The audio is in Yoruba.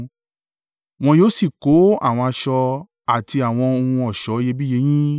Wọn yóò sì kó àwọn aṣọ àti àwọn ohun ọ̀ṣọ́ iyebíye yín.